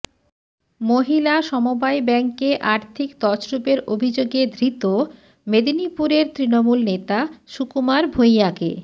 মহিলা সমবায় ব্যাঙ্কে আর্থিক তছরুপের অভিযোগে ধৃত মেদিনীপুরের তৃণমূল নেতা সুকুমার ভুঁইয়াকে